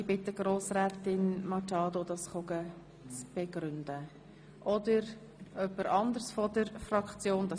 Es ist auch in Ordnung, wenn es jemand anderes aus der Grünen Fraktion tut.